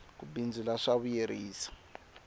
ku bindzula swa vuyerisa